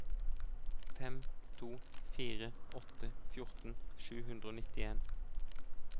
fem to fire åtte fjorten sju hundre og nittien